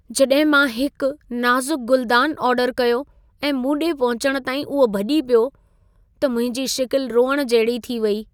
जॾहिं मां हिक नाज़ुक गुलदान ऑर्डर कयो ऐं मूं ॾे पहुचण ताईं उहो भॼी पियो, त मुंहिंजी शिकिल रोइण जहिड़ी थी वई।